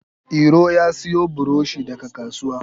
Iro ya siyo buroshi daga kasuwa